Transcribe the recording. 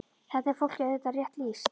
Þarna er fólki auðvitað rétt lýst.